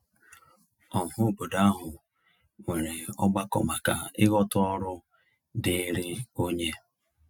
Ọhaobodo ahụ nwere ọgbakọ maka ịghọta ọrụ diiri onye.